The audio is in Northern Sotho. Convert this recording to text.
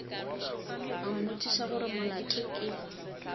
a mmotšiša gore molato ke